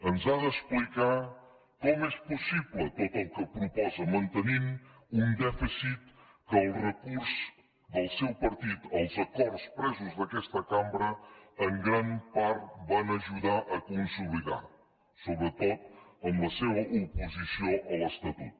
ens ha d’explicar com és possible tot el que proposa mantenint un dèficit que el recurs del seu partit als acords presos d’aquesta cambra en gran part van ajudar a consolidar sobretot amb la seva oposició a l’estatut